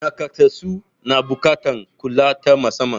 Naƙasassu na buƙatar kula ta musamman.